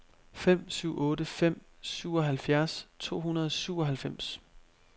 fem syv otte fem syvoghalvfjerds to hundrede og syvoghalvfems